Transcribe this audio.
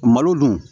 Malo dun